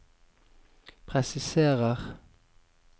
presiserer